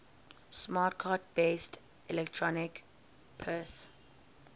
smart card based electronic purse